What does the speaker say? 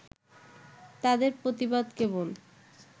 তাঁদের প্রতিবাদ কেবল